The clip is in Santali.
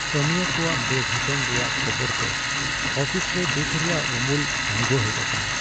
ᱠᱟᱹᱢᱤᱭᱟᱹ ᱠᱚᱣᱟᱜ ᱵᱮᱜᱷᱚᱴᱚᱱ ᱨᱮᱭᱟᱜ ᱠᱷᱚᱵᱚᱨᱛᱮ ᱟᱯᱷᱤᱥ ᱨᱮ ᱫᱩᱠᱷ ᱨᱮᱭᱟᱜ ᱩᱢᱩᱞ ᱟᱲᱜᱳ ᱦᱮᱡ ᱟᱠᱟᱱᱟ ᱾